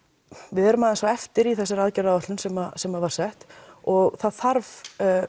við erum aðeins á eftir í þessari aðgerðaráætlun sem sem var sett og það þarf